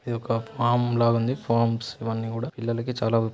ఇది ఒక ఫామ్ లాగా ఉంది ఫార్మ్స్ ఇవన్నీ కూడా పిల్లలకు చాలా ఉ--